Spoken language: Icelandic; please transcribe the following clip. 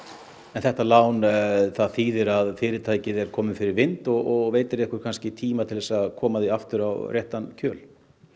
þetta lán þýðir að fyrirtækið er komið fyrir vind og veitir ykkur tíma til að koma því aftur á réttan kjöl